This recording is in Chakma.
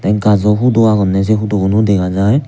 gaajo hudo agonney say hudo guno dega jaai.